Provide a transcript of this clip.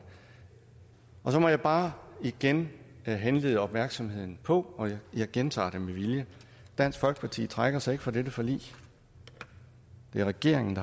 og så må jeg bare igen henlede opmærksomheden på og jeg gentager det med vilje dansk folkeparti trækker sig ikke fra dette forlig det er regeringen